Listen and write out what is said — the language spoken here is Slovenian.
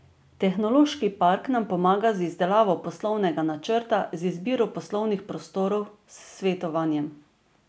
Tehnološki park nam pomaga z izdelavo poslovnega načrta, z izbiro poslovnih prostorov, s svetovanjem.